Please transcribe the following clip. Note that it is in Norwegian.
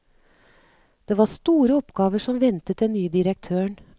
Det var store oppgaver som ventet den nye direktøren.